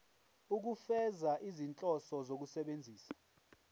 ukufeza izinhloso zokusebenzisa